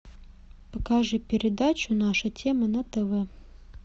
покажи передачу наша тема на тв